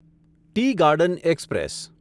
T garden express